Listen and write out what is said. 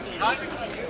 Rəqəmlə getdi.